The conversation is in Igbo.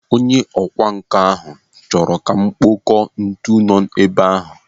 Onye ọkwa nkà ahụ chọrọ kà m kpọkọọ ntu nọ ebe ahụ.